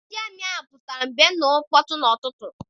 Ndị amị ahụ pụtara mgbe ha nụrụ mkpọtụ n'ụtụtụ.